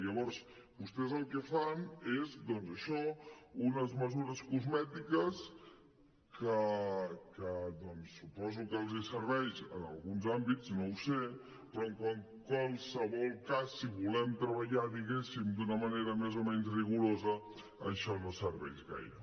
llavors vostès el que fan és doncs això unes mesures cosmètiques que suposo que els serveixen en alguns àmbits no ho sé però en qualsevol cas si volem treballar diguéssim d’una manera més o menys rigorosa això no serveix gaire